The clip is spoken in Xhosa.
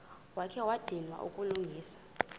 wakha wadinwa kukulungisa